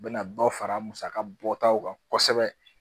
U bɛna dɔ fara musakabɔ taw kan kosɛbɛ